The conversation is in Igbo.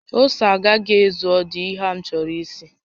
Ose a agaghị ezu ọdụ ehi a m chọrọ isi